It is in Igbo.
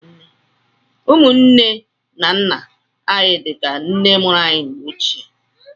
Ụmụnne nne na nna anyị dịka nne mụrụ anyị na mgbe ochie.